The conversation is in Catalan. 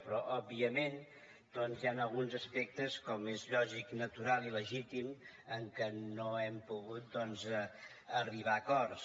però òbviament hi ha alguns aspectes com és lògic natural i legítim en què no hem pogut arribar a acords